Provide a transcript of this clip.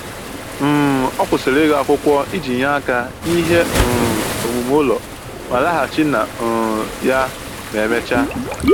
um Ọ kwụsịrị ịgụ akwụkwọ iji nye aka n'ihe um omume ụlọ ma laghachi na um ya ma emechaa